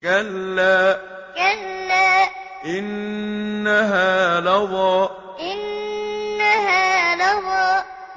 كَلَّا ۖ إِنَّهَا لَظَىٰ كَلَّا ۖ إِنَّهَا لَظَىٰ